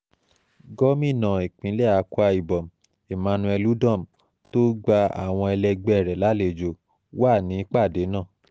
gomina ìpínlẹ̀ akwa ibom emmanuel udom tó gba àwọn ẹlẹgbẹ́ rẹ̀ lálejò wà nípàdé náà